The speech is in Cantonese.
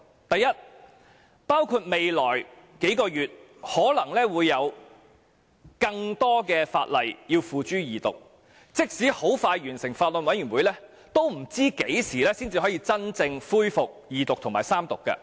第一，未來數月可能會有更多法案付諸二讀，即使法案委員會很快完成審議，也不知何時才可以真正恢復二讀及三讀。